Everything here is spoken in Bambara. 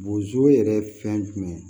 Bozo yɛrɛ ye fɛn jumɛn ye